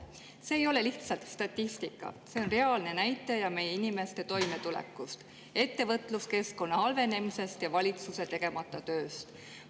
See ei ole lihtsalt statistika, see on reaalne näitaja meie inimeste toimetuleku, ettevõtluskeskkonna halvenemise ja valitsuse tegemata töö kohta.